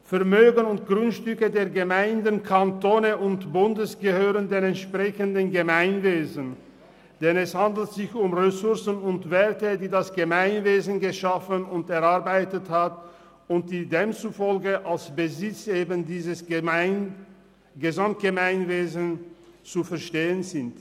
Vermögen und Grundstücke der Gemeinde, des Kantons und des Bundes gehören den entsprechenden Gemeinwesen, denn es handelt sich um Ressourcen und Werte, die das Gemeinwesen geschaffen und erarbeitet hat und die demzufolge als Besitz eben dieses Gesamtgemeinwesens zu verstehen sind.